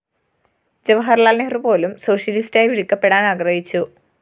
ജവഹര്‍ലാല്‍ നെഹ്‌റു പോലും സോഷ്യലിസ്റ്റായി വിളിക്കപ്പെടാന്‍ ആഗ്രഹിച്ചു